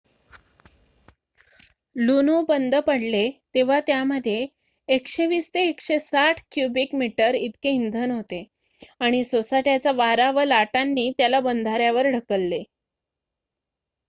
लुनो बंद पडले तेव्हा त्यामध्ये १२०-१६० क्युबिक मीटर इतके इंधन होते आणि सोसाट्याचा वारा व लाटांनी त्याला बंधाऱ्यावर ढकलले